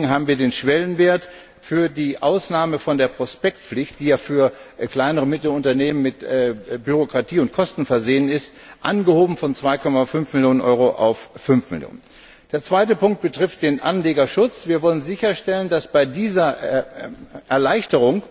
Deswegen haben wir den Schwellenwert für die Ausnahme von der Prospektpflicht, die ja für kleine und mittlere Unternehmen mit Bürokratie und Kosten behaftet ist, von 2,5 Millionen auf 5 Millionen Euro angehoben. Der zweite Punkt betrifft den Anlegerschutz Wir wollen sicherstellen, dass bei dieser Erleichterung